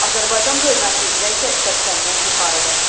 Azərbaycan bölməsi üzrə isə 80-dən yuxarıdır.